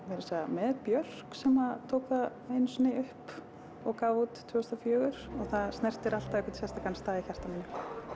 meira að segja með Björk sem tók það einu sinni upp og gaf út tvö þúsund og fjögur og það snertir alltaf einhvern sérstakan stað í hjarta mínu